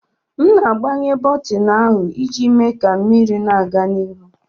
M na-agbanye bọtịnụ ahụ iji mee ka mmiri na-aga n'ihu.